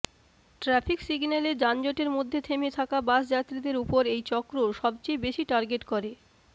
traffic সিগন্যালে যানজটের মধ্যে থেমে থাকা বাস যাত্রীদের ওপর এই চক্র সবচেয়ে বেশি টার্গেট করে